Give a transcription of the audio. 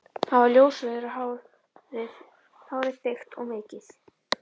Hann var ljósrauður á hár, hárið þykkt og mikið.